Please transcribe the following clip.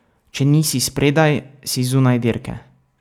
Če nisi spredaj, si zunaj dirke.